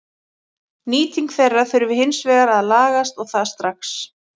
Nýting þeirra þurfi hins vegar að lagast og það strax.